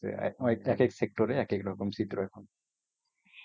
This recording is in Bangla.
তো এই এক এক sector এ এক এক রকম চিত্র এখন